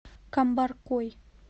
камбаркой